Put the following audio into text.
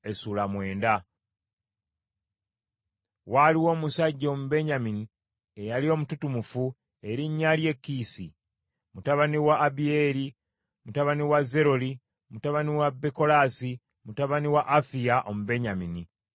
Waaliwo omusajja Omubenyamini eyali omututumufu erinnya lye Kiisi, mutabani wa Abiyeeri, mutabani wa Zeroli, mutabani wa Bekolaasi, mutabani wa Afiya, Omubenyamini.